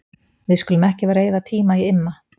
Við skulum ekki vera að eyða tíma í Imma.